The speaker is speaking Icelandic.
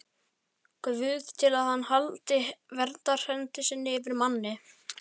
Guð til að hann haldi verndarhendi sinni yfir manni?